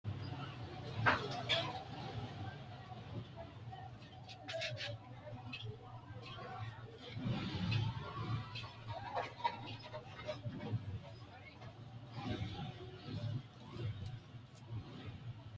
Itophiyu Malaatu Afii Roso Rosiishsha Mite Aleenni la’ini niwaawe wodanchitini garinni aante shiqqino xa’muwara dawaro Itophiyu malaatu afiinni dawarre Itophiyu.